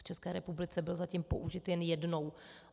V České republice byl zatím použit jen jednou.